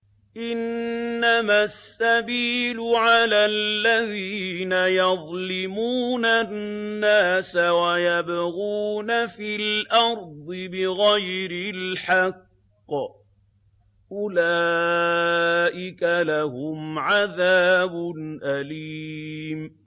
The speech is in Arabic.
إِنَّمَا السَّبِيلُ عَلَى الَّذِينَ يَظْلِمُونَ النَّاسَ وَيَبْغُونَ فِي الْأَرْضِ بِغَيْرِ الْحَقِّ ۚ أُولَٰئِكَ لَهُمْ عَذَابٌ أَلِيمٌ